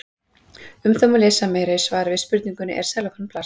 Um það má lesa meira í svari við spurningunni Er sellófan plast?